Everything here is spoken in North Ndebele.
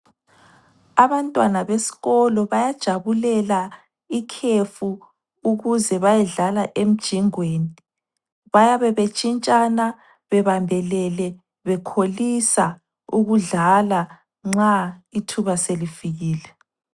Abantwana besikolo bayajabulela ikhefu ukuze bayedlala emjingweni. Bayabe betshintshana, bebambelele, bekholisa ukudlala nxa ithuba selifikile.